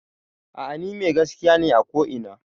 A'a ni mai gaskiya ne a ko ina